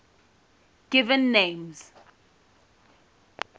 given names